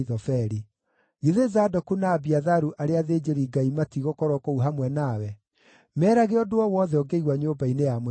Githĩ Zadoku na Abiatharu arĩa athĩnjĩri-Ngai matiigũkorwo kũu hamwe nawe? Meerage ũndũ o wothe ũngĩigua nyũmba-inĩ ya mũthamaki.